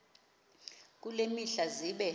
kule mihla zibe